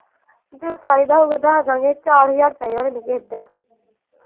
ਜਦੋਂ ਚਾਹੀਦਾ ਹੋਊਗਾ ਦੱਸ ਦਿਆਂਗੇ ਚਾਰ ਹਜ਼ਾਰ ਚਾਹੀਦਾ ਮੈਨੂੰ ਕਿਸੇ ਦਿਨ।